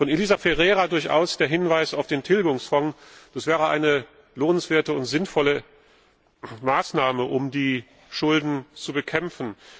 Von Elisa Ferreira kam der Hinweis auf den Tilgungsfonds, das wäre eine lohnende und sinnvolle Maßnahme, um die Schulden zu bekämpfen.